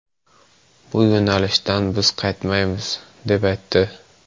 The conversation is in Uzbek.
Bu yo‘nalishdan biz qaytmaymiz’, deb aytdi.